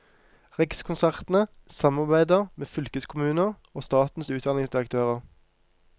Rikskonsertene samarbeider med fylkeskommuner og statens utdanningsdirektører.